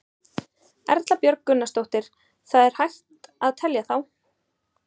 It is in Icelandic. Erla Björg Gunnarsdóttir: Það er hægt að telja þá?